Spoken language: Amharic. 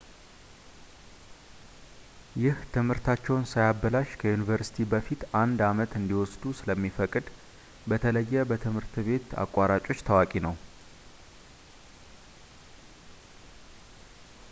ይህ ትምህርታቸውን ሳያበላሽ ከዩኒቨርሲቲ በፊት አንድ አመት እንዲወስዱ ስለሚፈቅድ በተለየ በትምህርት ቤት አቋራጮች ታዋቂ ነው